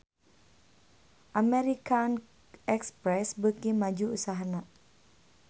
American Express beuki maju usahana